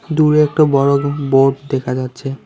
দূরে একটা বড় বোর্ড দেখা যাচ্ছে।